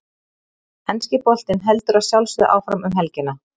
Enski boltinn heldur að sjálfsögðu áfram um helgina.